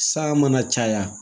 Sa mana caya